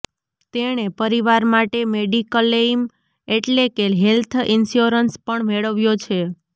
તેણે પરિવાર માટે મેડીકલેઇમ એટલે કે હેલ્થ ઇન્શ્યોરન્સ પણ મેળવ્યો છે